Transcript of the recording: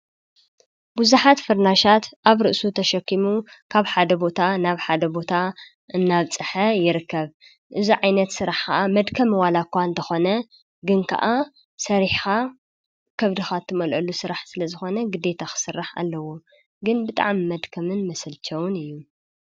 ብዙኃት ፍርናሻት ኣብ ርእሱ ተሸኪሙ ካብ ሓደ ቦታ ናብ ሓደ ቦታ እናብ ፅሐ ይርከብ እዙ ዓይነት ሥራሕ ኸዓ መድከም ዋላ እኳ እንተኾነ ግን ከዓ ሠሪኻ ከብድኻት እትመልዓሉ ሥራሕ ስለ ዝኾነ ግደታ ኽሥራሕ ኣለዉ ግን ብጣም መድከምን መሰልተውን እዩ።